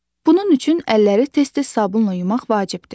Bunun üçün əlləri tez-tez sabunla yumaq vacibdir.